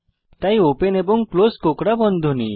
তাই ওপেন এবং ক্লোস কোঁকড়া বন্ধনী